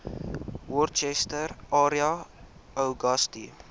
worcester area uagasti